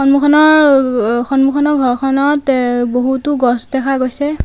সন্মুখনৰ অহ সন্মুখনৰ ঘৰখনত এহ বহুতো গছ দেখা গৈছে।